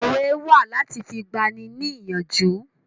Òwe wà láti fi gbà ni ní ìyànjú